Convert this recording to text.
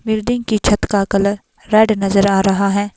Building की छत का कलर रैड नज़र आ रहा है।